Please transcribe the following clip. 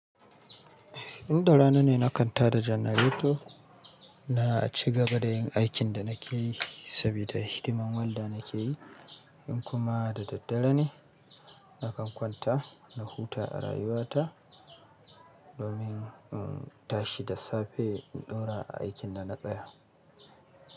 Inda rana ne na kan tada janareto na ci gaba da yin aikin da na ke yi saboda hidimar wanda na ke yi. In kuma da daddare ne, na kan kwanta na huta a rayuwa ta domin in tashi da safe in ɗora aikin da na tsaya.